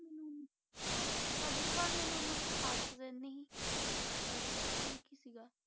ਹਾਂ ਸਾਜਿਦ ਖਾਨ ਮੈਨੂੰ ਇੰਨਾ ਕੁਛ ਪਸੰਦ ਨਹੀਂ, ਪਰ ਠੀਕ ਹੀ ਸੀਗਾ।